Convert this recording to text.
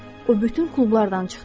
O bütün klublardan çıxdı.